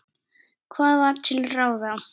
Hvað var til ráða?